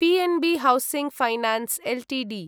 PNB Housing Finance Ltd